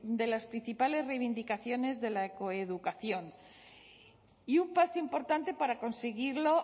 de las principales reivindicaciones de la coeducación y un paso importante para conseguirlo